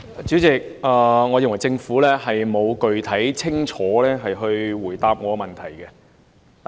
主席，我認為政府沒有具體、清楚地回答我的質詢。